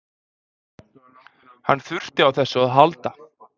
Hann þurfti á þessu að halda